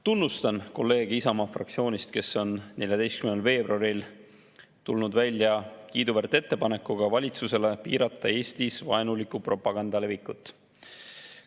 Tunnustan kolleege Isamaa fraktsioonist, kes on 14. veebruaril tulnud välja kiiduväärt ettepanekuga valitsusele piirata Eestis vaenuliku propaganda levikut.